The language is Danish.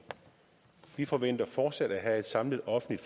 vi forventer fortsat at have et samlet offentligt